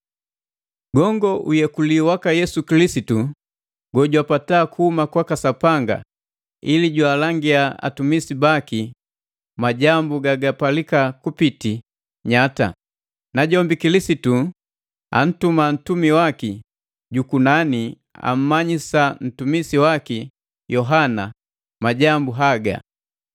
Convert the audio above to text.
Gongo uyekuli waka Yesu Kilisitu, gojwapata kuhuma kwaka Sapanga ili jwaalangia atumisi baki majambu gagapalika kupitila nyata. Najombi Kilisitu antuma ntumi waki jukunani ammanyisa ntumisi waki Yohana majambu haga.